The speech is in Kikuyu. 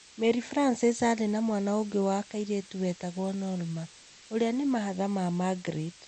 Mary Francis arĩ na mwana ũngĩ wa kairĩtu wetagwo Norma, ũrĩa ni mahatha na Margaret.